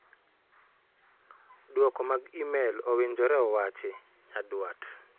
Duoko mag imel owinjore owachi??Nyaduat